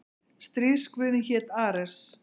Stríðsguðinn hét Ares.